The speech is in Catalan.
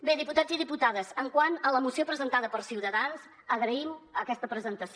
bé diputats i diputades quant a la moció presentada per ciutadans agraïm aquesta presentació